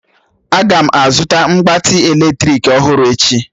Aga m azụta mgbatị eletrik ọhụrụ echi